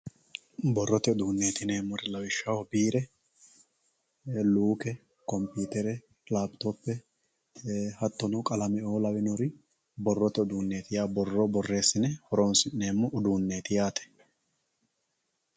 Borote uduuneti yinemori lawishaho biire luuke konpitere lapitope hatono qalame`oo lawinori borote uduuneti yawo boro boreesine horonsinemo uduunet yaate